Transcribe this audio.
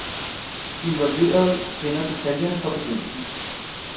De involverede kender detaljerne fra begyndelsen.